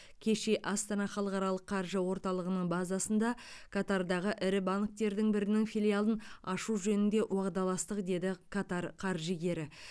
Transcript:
кеше астана халықаралық қаржы орталығының базасында катардағы ірі банктердің бірінің филиалын ашу жөнінде уағдаластық деді катар қаржыгері